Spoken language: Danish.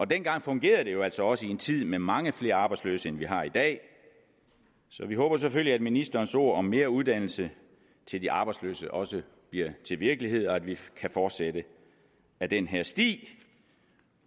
dengang fungerede det jo altså også i en tid med mange flere arbejdsløse end vi har i dag så vi håber selvfølgelig at ministerens ord om mere uddannelse til de arbejdsløse også bliver til virkelighed og at vi kan fortsætte ad den her sti